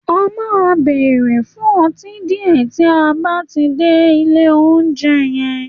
À máa bèrè fun õtí dìé tí a bátí dè I'll ounjé yen